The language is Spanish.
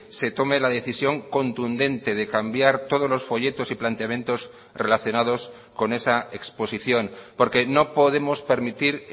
se tome la decisión contundente de cambiar todos los folletos y planteamientos relacionados con esa exposición porque no podemos permitir